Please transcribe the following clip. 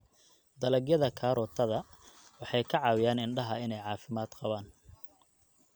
Dalagyada karootada waxay ka caawiyaan indhaha inay caafimaad qabaan.